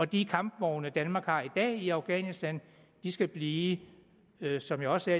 de kampvogne danmark har i afghanistan skal blive som jeg også